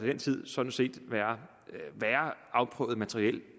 den tid sådan set være afprøvet materiel